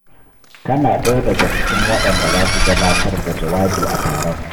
Kana ɗaya daga cikin waɗanda za su gabatar da jawabi a taron.